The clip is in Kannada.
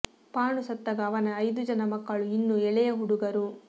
ಪಾಂಡು ಸತ್ತಾಗ ಅವನ ಐದು ಜನ ಮಕ್ಕಳೂ ಇನ್ನೂ ಎಳೆಯ ಹುಡುಗರು